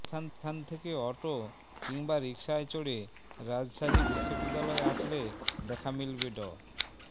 সেখান থেকে অটো কিংবা রিকশায় চড়ে রাজশাহী বিশ্ববিদ্যালয় আসলে দেখা মিলবে ড